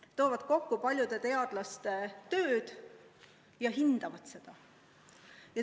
Need võtavad kokku paljude teadlaste tööd ja hindavad seda.